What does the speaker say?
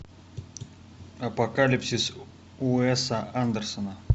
апокалипсис уэса андерсона